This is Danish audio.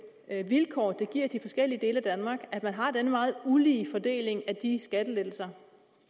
vilkår det giver de forskellige dele af danmark at man har denne meget ulige fordeling af de skattelettelser